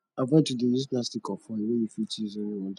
avoid to de use plastic or foil wey you fit use only one time